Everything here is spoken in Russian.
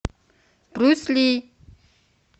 брюс ли